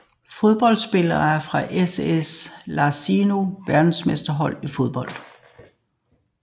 Fodboldspillere fra SS Lazio Verdensmestre i fodbold